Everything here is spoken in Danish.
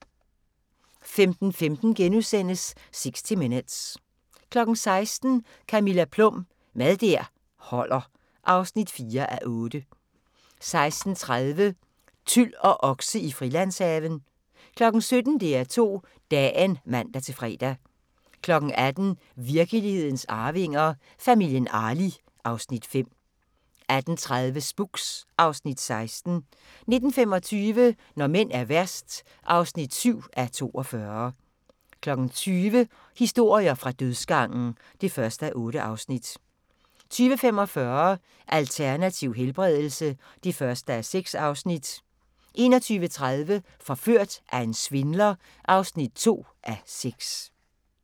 15:15: 60 Minutes * 16:00: Camilla Plum – Mad der holder (4:8) 16:30: Tyl og okse i Frilandshaven 17:00: DR2 Dagen (man-fre) 18:00: Virkelighedens Arvinger: Familien Arli (Afs. 5) 18:30: Spooks (Afs. 16) 19:25: Når mænd er værst (7:42) 20:00: Historier fra dødsgangen (1:8) 20:45: Alternativ helbredelse (1:6) 21:30: Forført af en svindler (2:6)